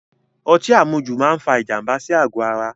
Ọtí àmujù máa fa ìjànbá sí àgò ara